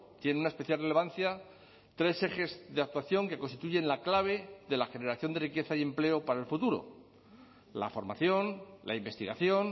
tiene una especial relevancia tres ejes de actuación que constituyen la clave de la generación de riqueza y empleo para el futuro la formación la investigación